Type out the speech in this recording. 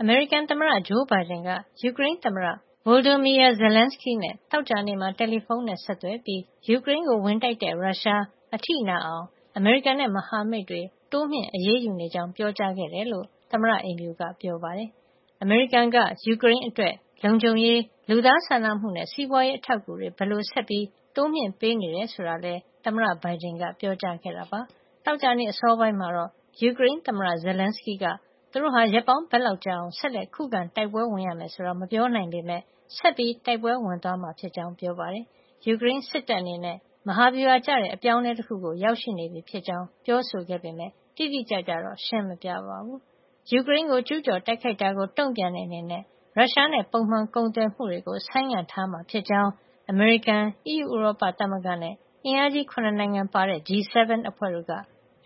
အမေရိကန် သမ္မတ ဂျိုးဘိုင်ဒန် က ယူကရိန်းသမ္မတ Volodymyr Zelenskyy နဲ့ သောကြာနေ့က တယ်လီဖုံးဆက်သွယ်ပြီး ယူကရိန်းကို ဝင်တိုက်တဲ့ ရုရှား အထိနာအောင် အမေရိကန်နဲ့ မဟာမိတ်တွေ တိုးမြှင့် အရေးယူနေကြောင်း ပြောကြားခဲ့တယ်လို့ သမ္မတအိမ်ဖြူက ပြောပါတယ်။ အမေရိကန်က ယူကရိန်းအတွက် လုံခြုံရေး၊ လူသားစာနာမှုနဲ့ စီးပွါးရေးအထောက်အကူတွေ ဘယ်လိုဆက်ပြီး တိုးမြှင့်ပေးနေတယ်ဆိုတာလည်း သမ္မတဘိုင်ဒန်က ပြောကြားခဲ့တာပါ။ သောကြာနေ့ အစောပိုင်းကတော့ ယူကရိန်းသမ္မတ Zelenskyy က သူတို့ဟာ ရက်ပေါင်းဘယ်လောက်ကြာအောင် ဆက်လက်ခုခံတိုက်ပွဲဝင်ရမယ်ဆိုတာ မပြောနိုင်ပေမဲ့ ဆက်လက် တိုက်ပွဲဝင်သွားမယ်လို့လည်း ပြောပါတယ်။ ယူကရိန်း စစ်တပ်အနေနဲ့ မဟာဗျူဟာကျတဲ့ အပြောင်းအလဲ တခုကို ရောက်ရှိနေပြီ ဖြစ်ကြောင်းလည်း ပြောဆိုခဲ့ပေမဲ့ တိတိကျကျတော့ ရှင်းမပြပါဘူး။ ယူကရိန်းကို ကျူးကျော်တိုက်ခိုက်တာကို တုံ့ပြန်တဲ့ အနေတဲ့ ရုရှားနဲ့ ပုံမှန်ကုန်သွယ်မှုကို ဆိုင်းငံံထားမှာ ဖြစ်ကြောင်း အမေရိကန်၊ အီးယူဥရောပသမဂ္ဂနဲ့ အင်အားကြီး ၇ နိုင်ငံပါတဲ့ G 7 အဖွဲ့တို့က